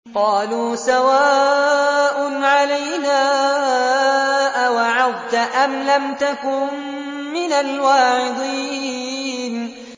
قَالُوا سَوَاءٌ عَلَيْنَا أَوَعَظْتَ أَمْ لَمْ تَكُن مِّنَ الْوَاعِظِينَ